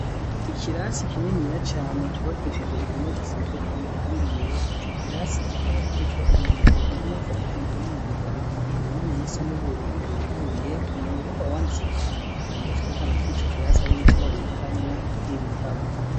Ikirasi kinini ya cane cubakishije impome zisize amaranga yera ico kirasi kikaba kiriko umwango umwe ufatikanije n'imyango ibiri minini yisa n'ubururu yuguruye umwango umwe ukaba wanditseko cane ikirango cerekana ko ico kirasi ari ico babikamwo ibitabo.